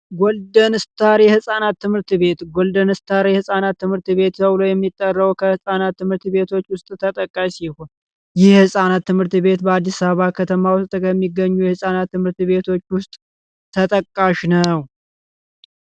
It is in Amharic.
ወልደስታሪ ህፃናት ትምህርት ቤት ጎልደንስትሬ ህፃናት ትምህርት ቤት የሚጠራው ትምህርት ቤቶች ውስጥ ተጠቃሚ ሲሆን የህጻናት ትምህርት ቤት በአዲስ አበባ ከተማ የሚገኙ ትምህርት ቤቶች ውስጥ ተጠቃሽ ነው